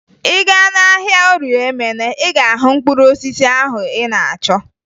Ị gaa n'ahịa Orie Emene, ị ga-ahụ mkpụrụ osisi ahụ ị na-achọ